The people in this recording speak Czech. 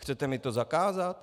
Chcete mi to zakázat?